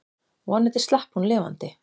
Vonandi slapp hún lifandi.